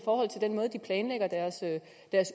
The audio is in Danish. den måde de planlægger deres